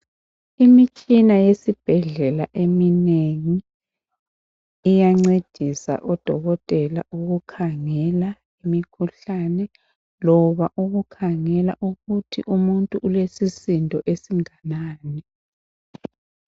Imitshina yesibhedlela eminengi iyancedisa odokotela ukukhangela imikhuhlane loba ukukhangela ukuthi umuntu ulesisindo esinganani.